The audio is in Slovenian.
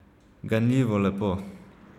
Ganljivo lepo.